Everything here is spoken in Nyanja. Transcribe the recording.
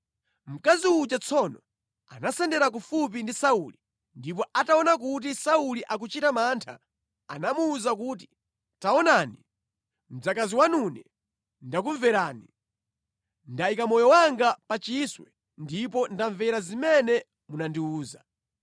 Mkazi uja tsono anasendera kufupi ndi Sauli, ndipo ataona kuti Sauli akuchita mantha, anamuwuza kuti, “Taonani, mdzakazi wanune ndakumverani. Ndayika moyo wanga pa chiswe ndipo ndamvera zimene munandiwuza.